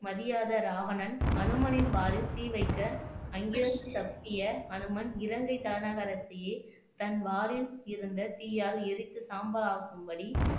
மதியாத ராவணன் அனுமனின் வாலில் தீ வைக்க அங்கிருந்து தப்பிய அனுமன் இலங்கை தலைநகரத்தியே தன் வாலில் இருந்த தீயால் எரித்து சாம்பலாக்கும்படி